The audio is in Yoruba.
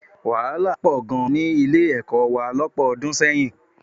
Wàhálà pọ̀ gan ní Ilé-ẹ̀kọ́ wa lọ́pọ̀ ọdún sẹ́yìn